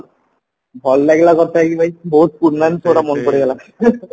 ଭଲ ଲାଗିଲା କଥା ହେଇକି ଭାଇ ବହୁତ ଗୁଡା ମାନେ ପଡିଗଲା